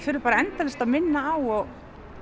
þurfi endalaust að minna á og